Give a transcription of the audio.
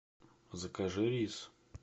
закажи рис